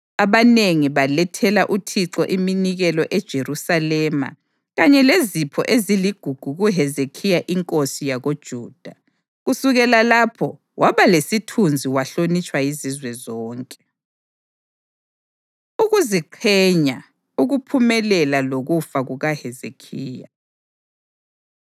Abanengi balethela uThixo iminikelo eJerusalema kanye lezipho eziligugu kuHezekhiya inkosi yakoJuda. Kusukela lapho waba lesithunzi wahlonitshwa yizizwe zonke. Ukuziqhenya, Ukuphumelela Lokufa KukaHezekhiya